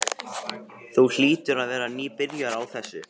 Þú hlýtur að vera nýbyrjaður á þessu.